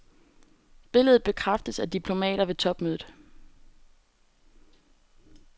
Billedet bekræftes af diplomater ved topmødet.